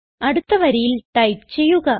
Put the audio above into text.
അടുത്ത വരിയിൽ ടൈപ്പ് ചെയ്യുക